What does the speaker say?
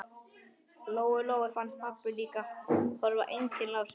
Lóu Lóu fannst pabbi líka horfa einkennilega á sig.